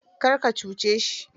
Kar ka cuce shi